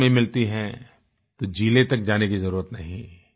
तहसील में मिलती है तो जिले तक जाने की जरुरत नहीं है